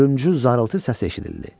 Ölümsüz zarıltı səsi eşidildi.